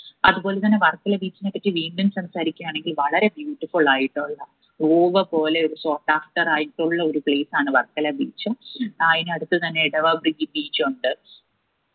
അത് പോലെത്തന്നെ വർക്കല beach നേപ്പറ്റി വീണ്ടും സംസാരിക്കയാണെങ്കിൽ വളരെ beautiful ആയിട്ടുള്ള പോലെ ആയിട്ടുള്ള ഒരു place ആണ് വർക്കല beach ആ അയിന് അടുത്ത് തന്നെ ഇടവ beach ഉണ്ട്